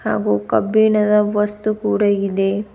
ಹಾಗೂ ಕಬ್ಬಿಣದ ವಸ್ತು ಕೂಡ ಇದೆ.